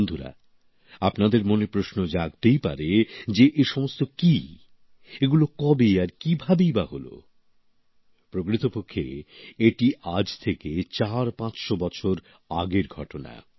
বন্ধুরা আপনাদের মনে প্রশ্ন জাগতেই পারে যে এ সমস্ত কি এগুলো কবে আর কীভাবেই বা হলো প্রকৃতপক্ষে এটি আজ থেকে চারপাঁচশ বছর আগের ঘটনা